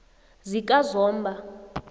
zikazomba